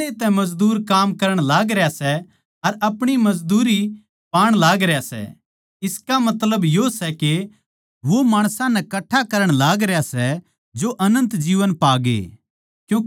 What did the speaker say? पैहले तै मजदूर काम करण लागरया सै अर अपणी मजदूरी पावैण लागरया सै इसका मतलब यो सै के वो माणसां नै कठ्ठा करण लागरया सै जो अनन्त जीवन पा ग्ये